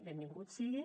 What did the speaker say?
benvingut sigui